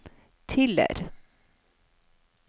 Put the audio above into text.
Tiller